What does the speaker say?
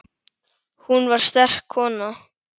Hún var sterk kona.